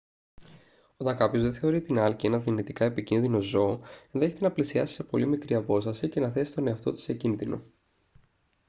όταν κάποιος δεν θεωρεί την άλκη ένα δυνητικά επικίνδυνο ζώο ενδέχεται να πλησιάσει σε πολύ μικρή απόσταση και να θέσει τον εαυτό του σε κίνδυνο